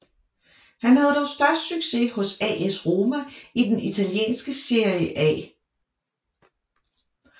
Han havde dog størst succes hos AS Roma i den italienske Serie A